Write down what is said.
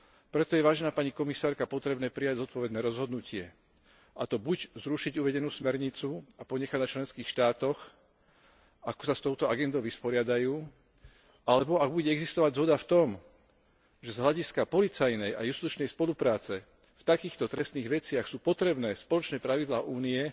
Preto je, vážená pani komisárka, potrebné prijať zodpovedné rozhodnutie, a to buď zrušiť uvedenú smernicu a ponechať na členských štátoch, ako sa s touto agendou vyrovnajú, alebo, ak bude existovať zhoda v tom, že z hľadiska policajnej a justičnej spolupráce v takýchto trestných veciach sú potrebné spoločné pravidlá Únie,